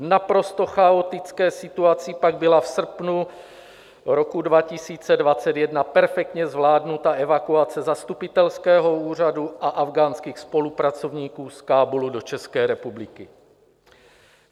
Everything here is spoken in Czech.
V naprosto chaotické situaci pak byla v srpnu roku 2021 perfektně zvládnuta evakuace zastupitelského úřadu a afghánských spolupracovníků z Kábulu do České republiky.